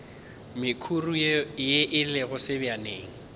mekhuri ye e lego sebjaneng